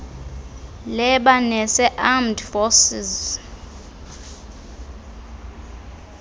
lebanese armed forces